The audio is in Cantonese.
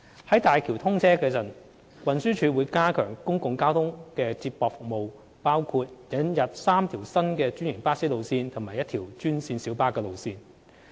在大橋通車時，運輸署會加強公共交通接駁服務，包括引入3條新的專營巴士路線及1條專線小巴路線。